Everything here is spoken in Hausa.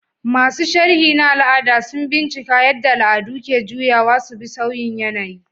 Masu sharhi na al'ada sun bincika yadda al'adu ke juyawa su bi sauyin yanayi.